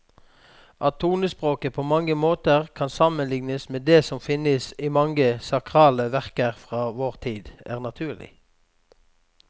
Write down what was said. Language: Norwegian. At tonespråket på mange måter kan sammenlignes med det som finnes i mange sakrale verker fra vår tid, er naturlig.